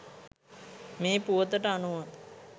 මේ පුවතට අනුව